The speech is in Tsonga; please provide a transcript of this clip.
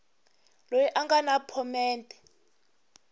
loyi a nga na phomete